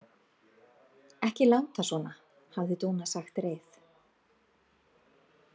Ekki láta svona, hafði Dúna sagt reið.